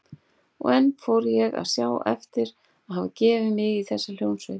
Og enn fór ég að sjá eftir að hafa gefið mig í þessa hljómsveit.